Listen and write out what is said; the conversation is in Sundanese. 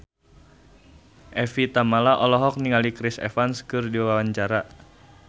Evie Tamala olohok ningali Chris Evans keur diwawancara